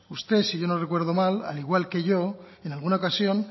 usted si yo no recuerdo mal al igual que yo en alguna ocasión